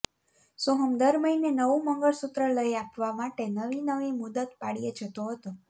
સોહમ દર મહિને નવું મંગળસૂત્ર લઇ આપવા માટે નવીનવી મુદત પાડયે જતો હતો